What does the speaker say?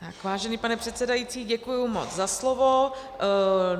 Vážený pane předsedající, děkuji moc za slovo.